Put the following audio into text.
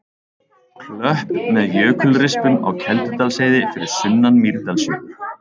Klöpp með jökulrispum á Keldudalsheiði fyrir sunnan Mýrdalsjökul.